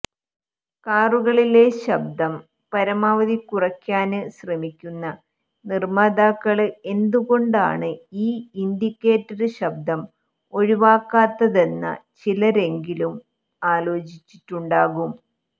കാറുകളില് ശബ്ദം പരമാവധി കുറയ്ക്കാന് ശ്രമിക്കുന്ന നിര്മ്മാതാക്കള് എന്തുകൊണ്ടാണ് ഈ ഇന്ഡിക്കേറ്റര് ശബ്ദം ഒഴിവാക്കാത്തതെന്ന ചിലരെങ്കിലും ആലോചിച്ചിട്ടുണ്ടാകും